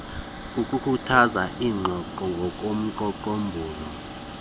kukukhuthaza iingxoxo ngomgaqonkqubo